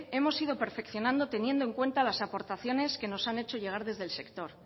hemos ido perfeccionando teniendo en cuenta las aportaciones que nos han hecho llegar desde el sector